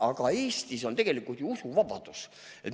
Aga Eestis on tegelikult ju usuvabadus.